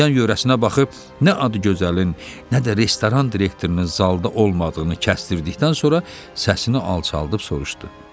Yan-yörəsinə baxıb nə Adıgözəlin, nə də restoran direktorunun zalda olmadığını kəsdirdikdən sonra səsini alçaldıb soruşdu.